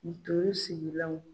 Ntɔri sigilanw